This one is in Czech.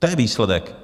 To je výsledek!